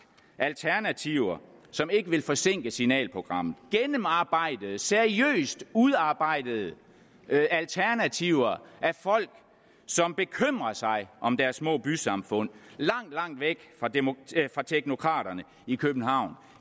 alternativer som ikke vil forsinke signalprogrammet gennemarbejdede seriøst udarbejdede alternativer af folk som bekymrer sig om deres små bysamfund langt langt væk fra teknokraterne i københavn